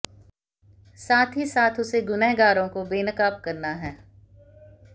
साथ ही साथ उसे गुनहगारों को बेनकाब करना है